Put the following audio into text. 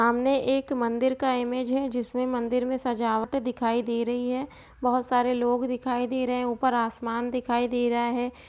सामने एक मंदिर का इमेज है जिसमे मंदिर मे सजावट दिखाई दे रही है बहुत सारे लोग दिखाई दे रहे है ऊपर आसमान दिखाई दे रहा है।